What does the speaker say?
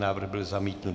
Návrh byl zamítnut.